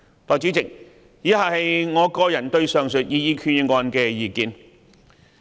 代理主席，以下是我個人對上述擬議決議案的意見。